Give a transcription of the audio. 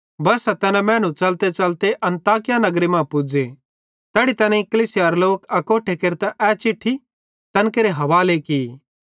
बस्सा तैना मैनू च़लतेच़लते अन्ताकिया नगरे मां पुज़े तैड़ी तैनेईं कलीसियारे लोक अकोट्ठे केरतां ए चिट्ठी तैन केरे हवाले की